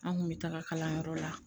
An kun bɛ taga kalanyɔrɔ la